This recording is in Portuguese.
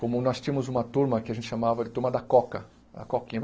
Como nós tínhamos uma turma que a gente chamava de turma da Coca, a Coquinha.